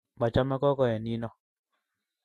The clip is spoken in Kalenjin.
machame gogoe nino